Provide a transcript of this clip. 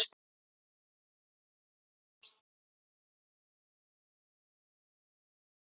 En varð þá litið á Lenu og hugsunin hrökk undan, leystist upp.